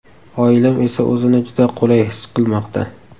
Oilam esa o‘zini juda qulay his qilmoqda.